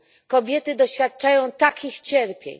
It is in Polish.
kobiety doświadczają takich cierpień!